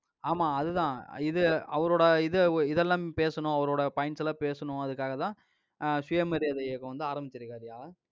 ஆமா, அதுதான். இது அவரோட இது, இதெல்லாம் பேசணும், அவரோட points எல்லாம் பேசணும் அதுக்காகதான் அஹ் சுயமரியாதை இயக்கம் வந்து ஆரம்பிச்சிருக்காருய்யா.